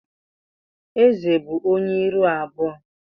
Ézè bụ ónyé ịrụ abụọ.